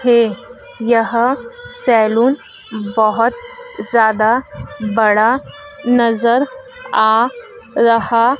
हे यहां सलून बोहोत ज्यादा बड़ा नजर आ रहा--